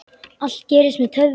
Allt gerist með töfrum.